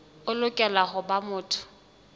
o lokela ho ba motho